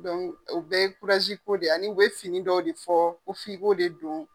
Donku o bɛ ye ko de ye ani u bɛ fini dɔw de fɔ ko f'i ko de don.